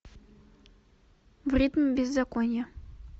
в ритме беззакония